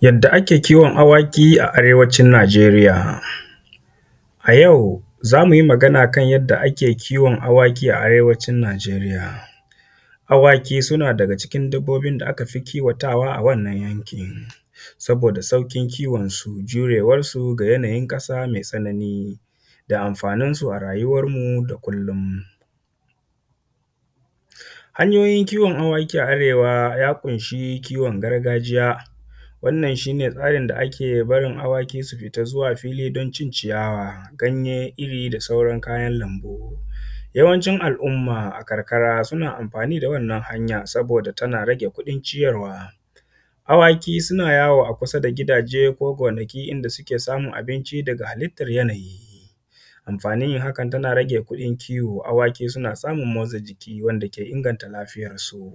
Yadda ake kiwon awaki a arewacin Najeriya a yau. Za mu yi magana akan yanda ake kiwon awaki a arewacin Najeriya, awaki suna ɗaya daga cikin dabbobin da aka fi kiwo a wannan yankin saboda sauƙin kiwonsu da ɗaurewansu da yanayin ƙasa me sauƙi da anfaninsu a rayuwan yau da kullon. Hanyoyin kiwon awaki a arewa ya ƙunshi kiwon gargajiya, wannan shi ne tsarin da ake barin awaki su fita zuwa cin ciyawa, ganye, iri da sauran kayan anfani. Yawancin al’umman karkara suna anfani da wannan hanya saboda tana rage kuɗin ciyarwa, awaki suna yawo a kusa da gidaje, gonaki in da suke samun abinci da ganyen icen. Yanayi anfanin yin hakan yana rage kuɗin kiwo yanda suke samun abinci daga halittan yanayi, awaki suna samun motsa jiki wanda ke inganta lafiyansu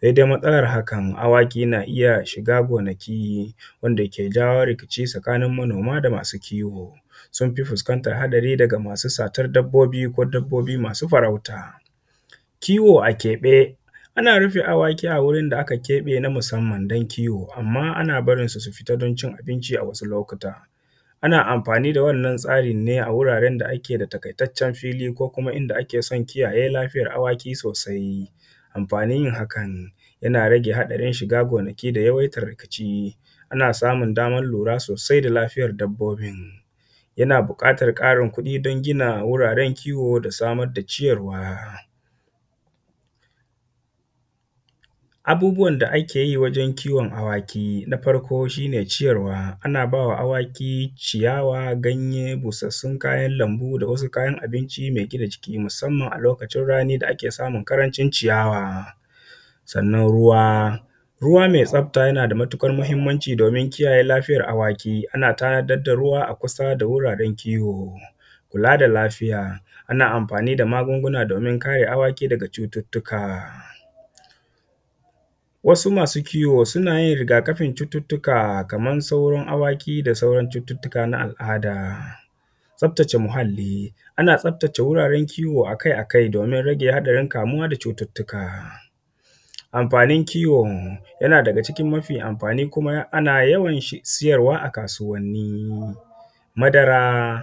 sai dai matsalan hakan, awaki na iya shiga gonakin manoma wanda ke jan yo rigima tsakanin makiyaya, sun fi fuskantan haɗari daga masu farauta. Kiwo akeɓe, ana rufe awaki a wurin da aka keɓe musanman don kiwo anma ana barinsu su fita don cin abinci, a wasu lokutan ana anfani da wannan tsarin ne a wuraren da suke da taƙaitaccen fili ko kuma inda ake son kiyaye lafiyan awaki sosai, anfanin yin hakan yana rage haɗarin shiga gonaki da yawan rikici, ana samun daman lura sosai da lafiyan dabbobin, yana ɓuƙatan ƙarin kuɗin don gina wajen kiwo da samar da ciyarwa. Abubuwan da ake yi wajen kiwon awaki, na farko shi ne ciyarwa, ana ba wa awaki ciyawa, ganye da busassun kayan lanbu da wasu kayan abinci mai gina jiki musanman a lokacin rani da ake samun ƙarancin ciyawa, sannan ruwa, ruwa mai tsafta yana da matuƙar mahinmancin domin kiyaye lafiyar awaki, ana tanadar da ruwa a kusa da wuraren kiwo. Kula da lafiya, ana anfani da magunguna domin kare awaki daga cututtuka, wasu masu kiwo suna yin rigakafin cututtuka kaman sauran awaki da sauran cututtuka na al’ada. Tsaftace muhalli, ana tsaftace wuraren kiwo akai-akai domin rage haɗarin kamuwa da cututtuka. Anfanin kiwo yana da ga cikin mafi anfani kuma ana yawan siyarwa a kasuwanni, madara,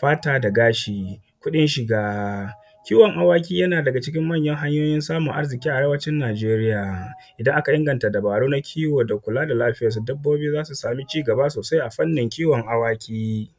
fata da gashi, kuɗin shiga. iwon awaki yana daga cikin manyan hanyoyin samun arziƙi a arewacin Najeriya idan aka inganta dubaru na kiwo da kula da lafiyan su dabbobin su sama cigaba sosai, afannin kiwon awaki.